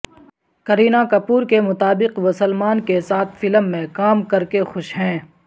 کرینہ کپور کے مطابق وہ سلمان کے ساتھ فلم میں کام کر کے خوش ہیں